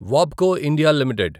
వాబ్కో India limited